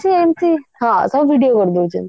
କିଛି ଏମତି ହଁ video କରିଦଉଛନ୍ତି